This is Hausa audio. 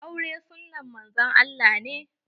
Aure sunnan Manzon Allah ne.